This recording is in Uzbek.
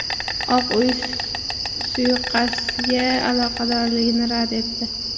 Oq uy suiqasdga aloqadorligini rad etdi.